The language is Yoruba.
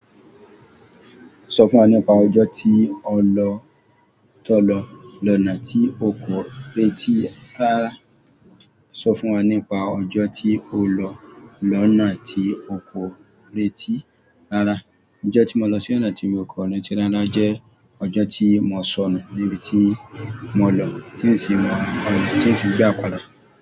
Sọ fún wa nípa ọjọ́ tí o lọ lọ́nà tí o kò retí rárá. Sọ fún wa nípa ọjọ́ tí o lọ lọ́nà tí o kò retí rárá. Ọjọ́ tí mo lọ sí ọ̀nà tí mo kò rántí rárá jẹ́, ọjọ́ tí mo sọnù níbi tí mo lọ, tí n sì mò ọna, tí n sì já padà.